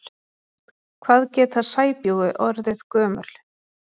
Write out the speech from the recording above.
Hvað geta sæbjúgu orðið gömul?